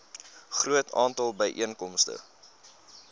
groot aantal byeenkomste